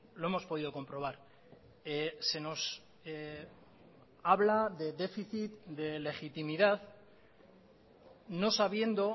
lo hemos podido comprobar se nos habla de déficit de legitimidad no sabiendo